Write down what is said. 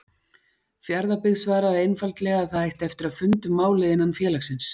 Fjarðabyggð svaraði einfaldlega að það ætti eftir að funda um málið innan félagsins.